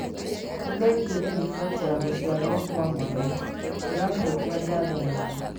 Nĩ thengio nĩ riboti ya gũciarwo kwa mwana, tũracokia ngatho mũno.